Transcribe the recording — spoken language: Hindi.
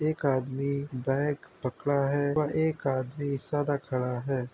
एक आदमी बैग पकड़ा है व एक आदमी सादा खड़ा है।